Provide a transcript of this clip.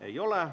Ei ole.